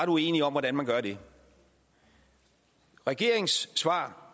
uenige om hvordan man gør det regeringens svar